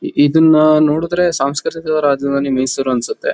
E ಇದನ್ನ ನೋಡುದ್ರೆ ಸಾಂಸ್ಕೃತಿಕ ರಾಜಧಾನಿ ಮೈಸೂರ್ ಅನ್ಸತ್ತೆ